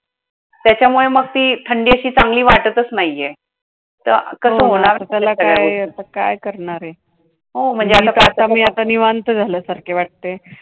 त्याच्यामुळं मग ती थंडी अशी चांगली वाटतंच नाहीये. तर कसं होणार त्याला आता काय करणारे? हो म्हणजे आता आता मी आता निवांत झाल्यासारखी वाटतेय.